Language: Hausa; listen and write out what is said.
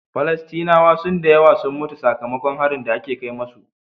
Falastinawa sun dayawa sun mutu saka makon harin da ake kai musu